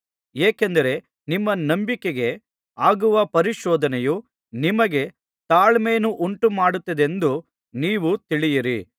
ಏಕೆಂದರೆ ನಿಮ್ಮ ನಂಬಿಕೆಗೆ ಆಗುವ ಪರಿಶೋಧನೆಯು ನಿಮಗೆ ತಾಳ್ಮೆಯನ್ನುಂಟು ಮಾಡುತ್ತದೆಂದು ನೀವು ತಿಳಿಯಿರಿ